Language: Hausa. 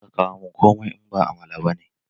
Kar ka kawo mun komai, in ba amala ba ne!